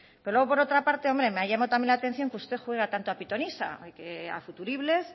pero luego por otra parte me ha llamado también la atención que usted juegue tanto a pitonisa y que a futuribles